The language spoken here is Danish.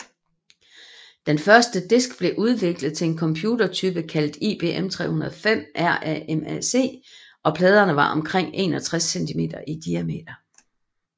Den første disk blev udviklet til en computertype kaldet IBM 305 RAMAC og pladerne var 61 cm i diameter